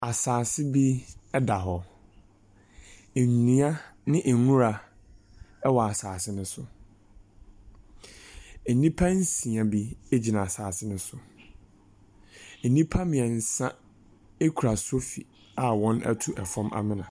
Asase bi da hɔ. Nnua ne nwura wɔ asase no so. Nnipa nsia bi gyina asase no so. Nnipa mmiɛnsa kura sofi a wɔatu fam amena.